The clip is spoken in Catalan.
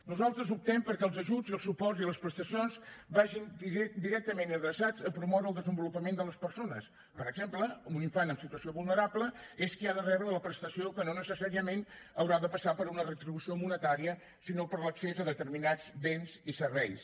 nosaltres optem perquè els ajuts i els suports i les prestacions vagin directament adreçats a promoure el desenvolupament de les persones per exemple un infant en situació vulnerable és qui ha de rebre la prestació que no necessàriament haurà de passar per una retribució monetària sinó per l’accés a determinats béns i serveis